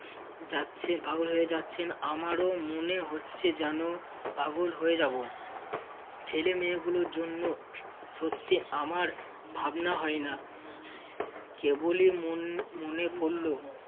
যাচ্ছে~ পাগল হয়ে যাচ্ছেন আমারও মনে হচ্ছে যেন পাগল হয়ে যাব। ছেলেমেয়েগুলোর জন্য সত্যি আমার ভাবনা হয় না কেবলই মন~ মনে পড়ল